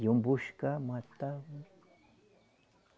Iam buscar, matavam.